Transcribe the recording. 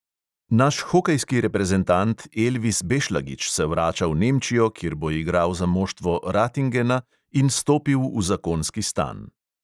Naš hokejski reprezentant elvis bešlagič se vrača v nemčijo, kjer bo igral za moštvo ratingena in stopil v zakonski stan